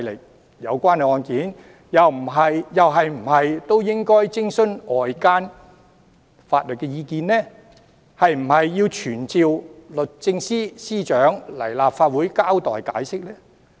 那麼，有關案件又是否應該徵詢外間法律意見，是否應該傳召律政司司長到立法會交代和解釋呢？